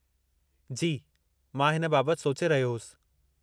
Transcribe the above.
जी, मां हिन बाबति सोचे रहियो होसि।